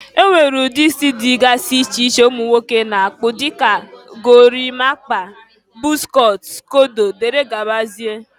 e nwere ụdị isi dịgasị iche iche ụmụ nwoke na-akpụ dịka: gorimapa, bọz cọt, skodo, dgz.